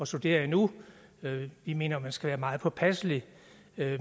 studere endnu vi mener at man skal være meget påpasselig